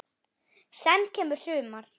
Senn kemur sumar.